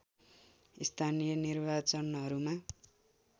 स्थानीय निर्वाचनहरूमा